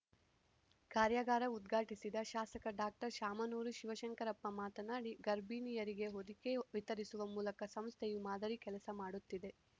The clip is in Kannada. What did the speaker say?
ಕಾರ್ಯಾಗಾರ ಉದ್ಘಾಟಿಸಿದ ಶಾಸಕ ಡಾಕ್ಟರ್ ಶಾಮನೂರು ಶಿವಶಂಕರಪ್ಪ ಮಾತನಾಡಿ ಗರ್ಭಿಣಿಯರಿಗೆ ಹೊದಿಗೆ ವಿತರಿಸುವ ಮೂಲಕ ಸಂಸ್ಥೆಯು ಮಾದರಿ ಕೆಲಸ ಮಾಡುತ್ತಿದೆ